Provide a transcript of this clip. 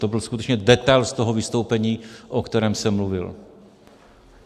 To byl skutečně detail z toho vystoupení, o kterém jsem mluvil.